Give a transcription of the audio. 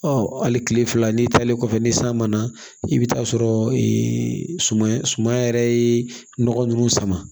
Ɔ hali kile fila n'i taalen kɔfɛ ni san ma na i bɛ taa sɔrɔ suman yɛrɛ ye nɔgɔ ninnu sama